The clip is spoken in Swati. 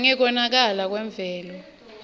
nangekonakala kwemvelo